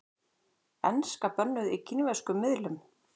Enska bönnuð í kínverskum miðlum